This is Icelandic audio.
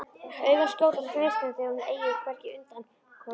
Augun skjóta gneistum þegar hún eygir hvergi undankomuleið.